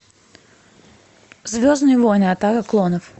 звездные войны атака клонов